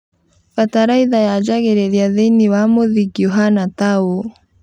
Bataraitha yanjagĩrĩria thĩinĩ wa mũthingi ũhana taũũ